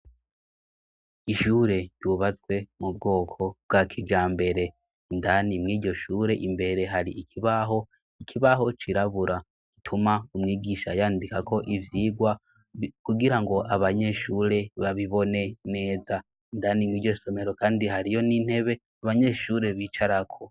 Ishure ryubatswe mu bwoko bwa kijambere. Indani mw'iryo shure imbere hari ikibaho, ikibaho cirabura gituma umwigisha yandika ko ivyigwa kugira ngo abanyeshure babibone neza, Indani mw'iryo somero kandi hariyo n'intebe abanyeshure bicarako.